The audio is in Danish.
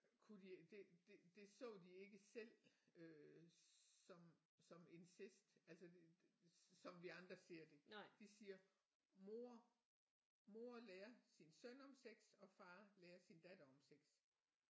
Kunne de det det det så de ikke selv øh som som incest altså det som vi andre ser det de siger mor mor lærer sin søn om sex og far lærer sin datter om sex